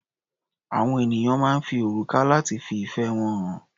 Àwọn ènìyàn máa ń fi òrùka lati fi ìfẹ́ wọn hàn.